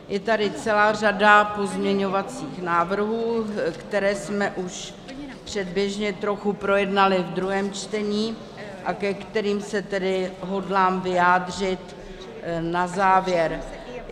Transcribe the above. Je tady celá řada pozměňovacích návrhů, které jsme už předběžně trochu projednali v druhém čtení a ke kterým se tedy hodlám vyjádřit na závěr.